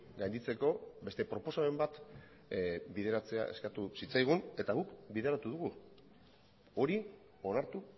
gainditzeko beste proposamen bat bideratzea eskatu zitzaigun eta guk bideratu dugu hori onartu